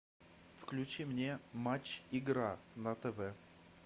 включи мне матч игра на тв